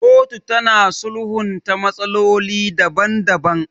Kotu tana sulhunta matsaloli daban daban.